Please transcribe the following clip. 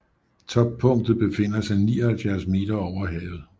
Toppunktet befinder sig 79 meter over havet